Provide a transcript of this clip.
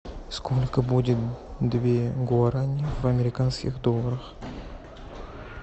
сколько будет две гуарани в американских долларах